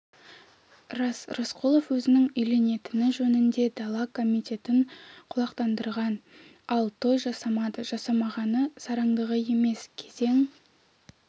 рас рысқұлов өзінің үйленетіні жөнінде дала комитетін құлақтандырған ал той жасамады жасамағаны сараңдығы емес кезең